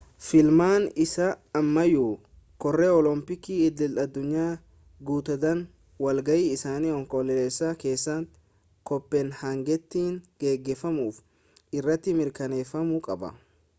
filmaanni isaa ammayyuu koree oolompiikii idil-addunyaa guutudhaan walga'ii isaa onkoloolessa keessa kooppenhaagenitti geggeeffamu irratti mirkaneeffamuu qaba